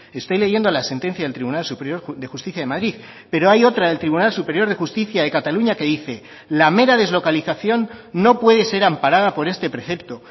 estoy leyendo la sentencia del tribunal superior de justicia de madrid pero hay otra del tribunal superior de justicia de cataluña que dice la mera deslocalización no puede ser amparada por este precepto